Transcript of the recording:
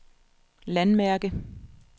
landmærke